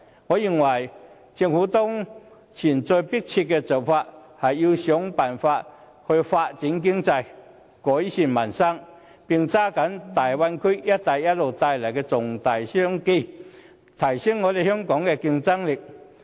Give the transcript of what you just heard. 我認為，政府的當前要務是設法發展經濟，改善民生，並抓緊大灣區及"一帶一路"帶來的重大商機，並提升香港的競爭力。